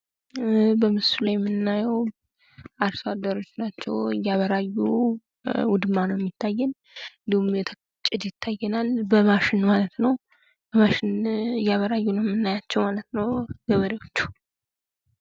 በምስሉ ላይ የምናዬው አርሶ አደሮች ናቸው እያቀራዩ ውድማ ነው የሚታዬን እንዲሁም ጭድ ይታዬናል በማሽን ማለት ነው እያበራዩ ነው የምናያቸው ማለት ነው ገበሬዎቹ።